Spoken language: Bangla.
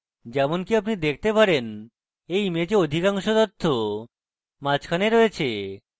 যেমনকি আপনি দেখতে পারেন এই image অধিকাংশ তথ্য মাঝখানে রয়েছে